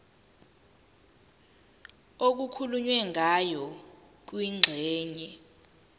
okukhulunywe ngayo kwingxenye